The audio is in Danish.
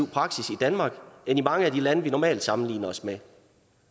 praksis i danmark end i mange af de lande vi normalt sammenligner os med